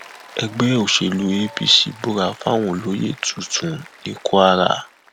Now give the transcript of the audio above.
ẹgbẹ òṣèlú apc búra fáwọn olóyè tuntun ní kwara